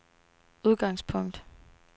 udgangspunkt